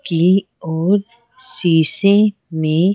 की ओर शीशे में--